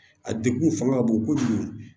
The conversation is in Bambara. A degun fanga ka bon kojugu